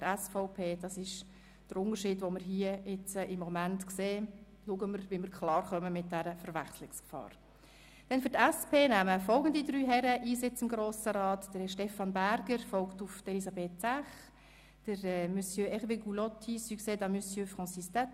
Es gibt keine Möglichkeit, die beiden namensgleichen Ratsmitglieder in der Namensliste auf der Anzeigetafel unterschiedlich anzuzeigen.